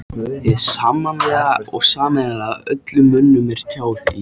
Hið sammannlega og sameiginlega öllum mönnum er tjáð í